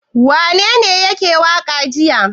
Wanene yake waƙa jiya?